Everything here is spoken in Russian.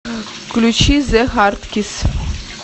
включи зе хардкисс